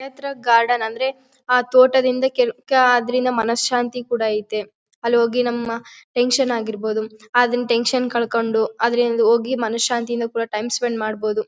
ನೇತ್ರ ಗಾರ್ಡನ್ ಅಂದ್ರೆ ಆ ತೋಟದಿಂದ ಕೆಲವ್ ಕ ಅದರಿಂದ ಮನಸ್ ಶಾಂತಿ ಕೂಡ ಐತೆ ಅಲ್ಲಿ ಹೋಗಿ ನಮ್ಮ ಟೆನ್ಶನ್ ಆಗಿರ್ಬಹುದು ಅದನ ಟೆನ್ಶನ್ ಕಳ್ಕೊಂಡು ಅದರಿಂದ ಹೋಗಿ ಮನಃಶಾಂತಿ ಇಂದ ಟೈಮ್ ಸ್ಪೆಂಡ್ ಮಾಡಬಹುದು.